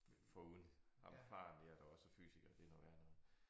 Foruden ham faren der der også er fysiker det noget værre noget